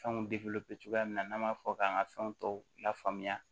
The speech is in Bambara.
Fɛnw cogoya min na n'an m'a fɔ k'an ka fɛn tɔw lafaamuya